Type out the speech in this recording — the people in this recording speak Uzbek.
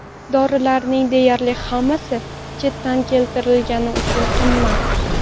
Dorilarning deyarli hammasi chetdan keltirilgani uchun juda qimmat.